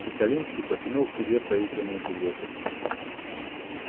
чекалинский потянул к себе проигранные билеты